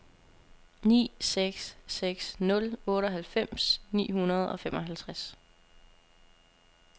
ni seks seks nul otteoghalvfems ni hundrede og femoghalvtreds